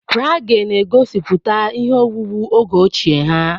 Praghe na-egosiputa ihe owuwu oge ochie ha.